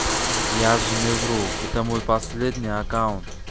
я же не вру это мой последний аккаунт